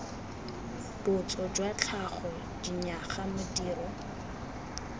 botso jwa tlhago dinyaga modiro